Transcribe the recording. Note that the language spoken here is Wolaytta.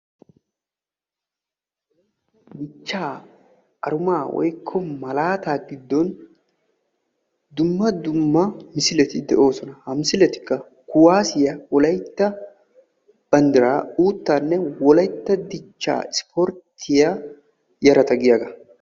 dichchaa arumaa woykko malaataa giddon dumma dumma misileti de'oosona ha misiletikka kuwaasiyaa wolaytta banddiraa uuttaanne wolaytta dichcha ispporttiyaa yarata giyaagaa